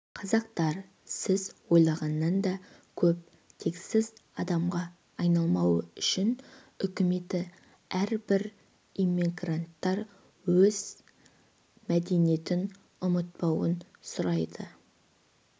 қазақтар сіз ойлағаннан да көп тексіз адамға айналмау үшін үкіметі әрбір иммигранттан өз мәдениетін ұмытпауын сұрайды